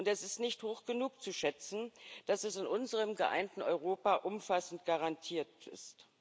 Und das ist nicht hoch genug zu schätzen, dass es in unserem geeinten Europa umfassend garantiert ist.